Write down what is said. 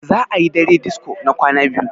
za a yi dare disko na kwana biyu